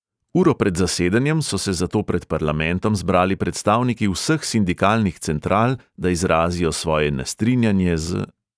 Uro pred zasedanjem so se zato pred parlamentom zbrali predstavniki vseh sindikalnih central, da izrazijo svoje nestrinjanje z ...